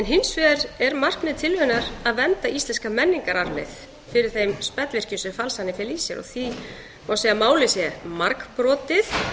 hins vegar er markmið tillögunnar að vernda íslenska menningararfleifð fyrir þeim spellvirkjum sem falsanir fela í sér og því má segja að málið sé margbrotið